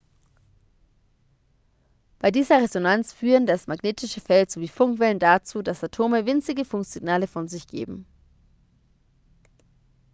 bei dieser resonanz führen das magnetische feld sowie funkwellen dazu dass atome winzige funksignale von sich geben